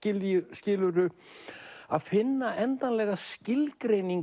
skilurðu að finna endanlega skilgreiningu